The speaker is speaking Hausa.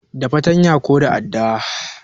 Da fatanya ko da adda